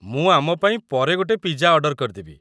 ମୁଁ ଆମ ପାଇଁ ପରେ ଗୋଟେ ପିଜା ଅର୍ଡର କରିଦେବି।